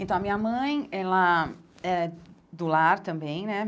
Então, a minha mãe, ela é do lar também, né?